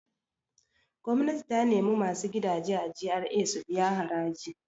Gwamnati ta nemi masu gidaje a GRA su biya haraji.